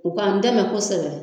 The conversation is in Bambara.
U ka n dɛmɛ kosɛbɛ.